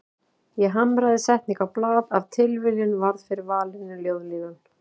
Ég hamraði setningu á blað, af tilviljun varð fyrir valinu ljóðlínan